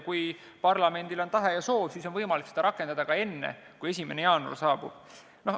Kui parlamendil on tahe ja soov, siis on võimalik seda rakendada ka enne, kui 1. jaanuar saabub.